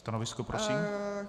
Stanovisko, prosím.